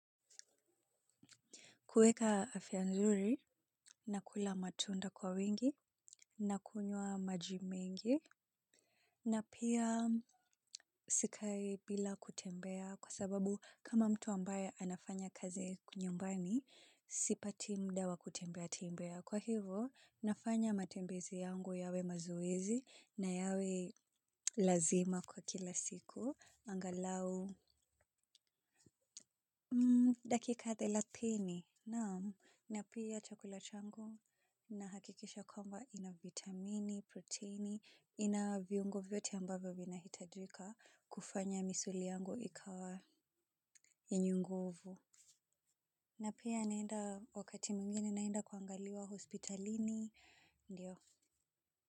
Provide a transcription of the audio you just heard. Kuweka afya nzuri, nakula matunda kwa wingi, nakunywa maji mingi, na pia sikai bila kutembea kwa sababu kama mtu ambaye anafanya kazi nyumbani, sipati mda wa kutembea tembea. Kwa hivyo, nafanya matembezi yangu yawe mazoezi, na yawe lazima kwa kila siku, angalau dakika thelathini. Naam, na pia chakula changu, nahakikisha kwamba ina vitamini, protini, ina viungo vyote ambavyo vinahitajika kufanya misuli yangu ikawa yenye nguvu. Na pia naenda, wakati mingini naenda kuangaliwa hospitalini, ndio.